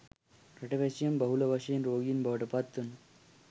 රටවැසියන් බහුල වශයෙන් රෝගීන් බවට පත්වන